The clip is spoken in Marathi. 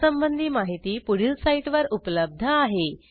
यासंबंधी माहिती पुढील साईटवर उपलब्ध आहे